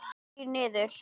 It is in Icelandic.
Þrír niður.